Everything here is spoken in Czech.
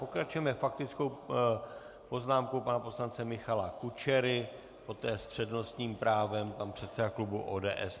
Pokračujeme faktickou poznámkou pana poslance Michala Kučery, poté s přednostním právem pan předseda klubu ODS.